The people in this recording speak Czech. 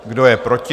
Kdo je proti?